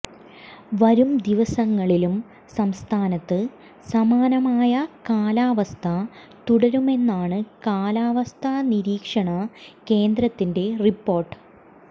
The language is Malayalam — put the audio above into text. വരും ദിവസങ്ങളിലും സംസ്ഥാനത്ത് സമാനമായ കാലാവസ്ഥ തുടരുമെന്നാണ് കാലാവസ്ഥ നിരീക്ഷണ കേന്ദ്രത്തിന്റെ റിപ്പോർട്ട്